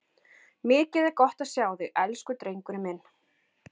Mikið er gott að sjá þig, elsku drengurinn minn!